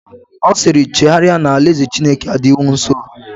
Ọ siiri, chegharịa na alaeze Chineke adịwo nsọ!